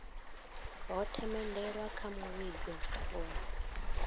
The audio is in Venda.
ho themendelwa kha muvhigo wa